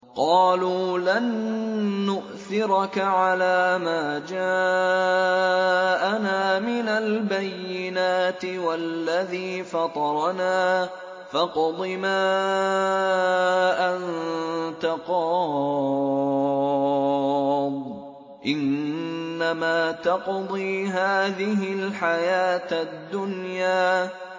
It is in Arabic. قَالُوا لَن نُّؤْثِرَكَ عَلَىٰ مَا جَاءَنَا مِنَ الْبَيِّنَاتِ وَالَّذِي فَطَرَنَا ۖ فَاقْضِ مَا أَنتَ قَاضٍ ۖ إِنَّمَا تَقْضِي هَٰذِهِ الْحَيَاةَ الدُّنْيَا